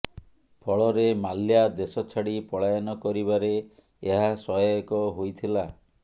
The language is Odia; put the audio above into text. ଫଳରେ ମାଲ୍ୟା ଦେଶ ଛାଡି ପଳାୟନ କରିବାରେ ଏହା ସହାୟକ ହୋଇଥିଲା